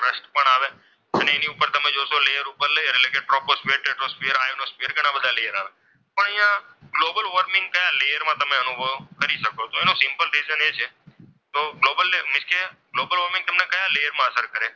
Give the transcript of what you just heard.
પણ એની ઉપર તમે જોશો લેયરઉપર લેયર એટલે કે ટ્રોપોસ્ફિયર, ટેટ્રોસ્ફિયર, આઈનોસ્ફિયર ઘણા બધા લેયર આવેલા છે. પણ અહીંયા ગ્લોબલ વોર્મિંગ તમે કયા લેયરમાં અનુભવ અનુભવી શકો તેનું સિમ્પલ રિઝલ્ટ એ છે તો ગ્લોબલ મીન્સ કે ગ્લોબલ વોર્મિંગ તમને કયા પ્લેયરમાં અસર કરે છે.